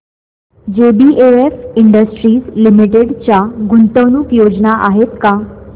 JBF industries limited च्या गुंतवणूक योजना आहेत का